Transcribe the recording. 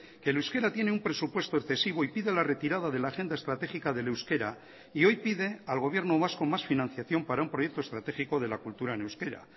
que el euskera tiene un presupuesto excesivo y pide la retirada de la agenda estratégica del euskera y hoy pide al gobierno vasco más financiación para un proyecto estratégico de la cultura en euskera